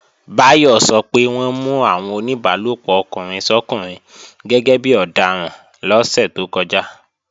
Báyọ̀ sọ pé wọ́n mú àwọn oníbálòpọ̀ ọkùnrin sọ́kùnrin gẹ́gẹ́bí ọdaràn lọ́sẹ̀ tó kọjá